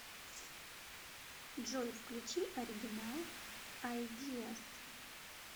джой включи оригинал айдиас